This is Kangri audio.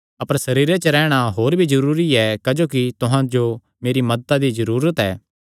अपर सरीरे च रैहणा होर भी जरूरी ऐ क्जोकि तुहां जो मेरी मदत दी जरूरत ऐ